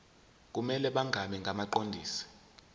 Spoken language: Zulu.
kumele bangabi ngabaqondisi